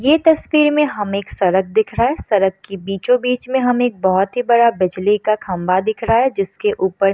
ये तस्वीर में हमें सड़क दिख रहा है सड़क के बीचो बीच में हमें बहुत ही बड़ा बिजली का खम्बा दिख रहा है। जिसके ऊपर --